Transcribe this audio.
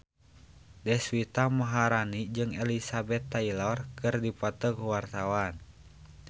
Deswita Maharani jeung Elizabeth Taylor keur dipoto ku wartawan